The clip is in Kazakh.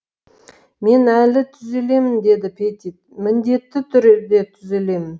мен әлі түзелемін деді петит міндетті түрде түзелемін